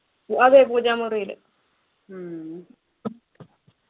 അതെ പൂജാമുറിയില്